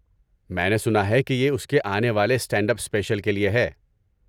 میں نے سنا ہے کہ یہ اس کے آنے والے اسٹینڈ اپ اسپیشل کے لیے ہے۔